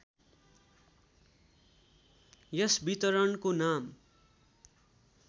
यस वितरणको नाम